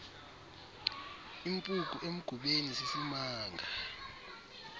impuku emgubeni sisimanga